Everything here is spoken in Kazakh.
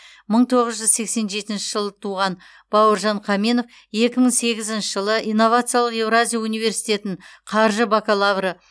мың тоғыз жүз сексен жетінші жылы туған бауыржан қаменов екі мың сегізінші жылы инновациялық еуразия университетін қаржы бакалавры